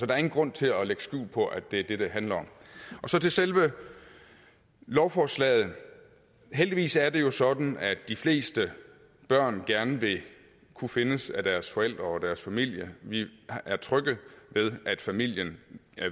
er ingen grund til at lægge skjul på at det er det det handler om så til selve lovforslaget heldigvis er det jo sådan at de fleste børn gerne vil kunne findes af deres forældre og deres familie vi er trygge ved at familien